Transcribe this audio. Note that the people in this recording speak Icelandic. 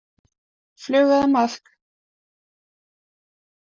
Flugu eða maðk.